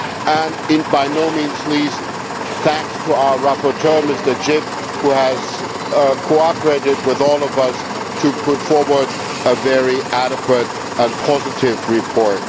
and, by no means least, thanks to our rapporteur Mr Grzyb, who has cooperated with all of us to put forward a very adequate and positive report.